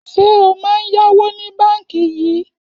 Ṣé o máa ń yáwó ní báńkì yìí?